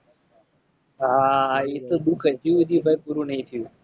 હા ઈ તો દુખ હજી સુધી ભાઈ પૂરું નથી થયું.